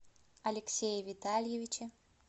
алексее витальевиче